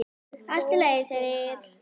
Allt í lagi, segir Egill.